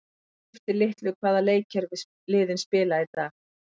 Það skiptir litlu hvaða leikkerfi liðin spila í dag.